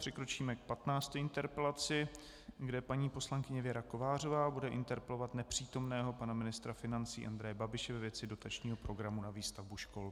Přikročíme k 15. interpelaci, kde paní poslankyně Věra Kovářová bude interpelovat nepřítomného pana ministra financí Andreje Babiše ve věci dotačního programu na výstavbu škol.